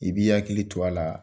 I b'i hakili to a la